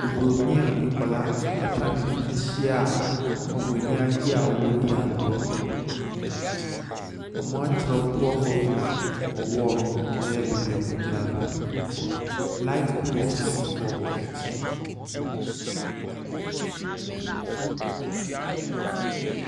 Obronin a nkwadaa atwa ne ho ahyia a wɔn ani agye a wɔn redi agorɔ. Wɔn atwerɛ poor governor wɔ wall no ho, ɛyɛ beebi a wɔgyina no. light pole nso si wɔn akyi.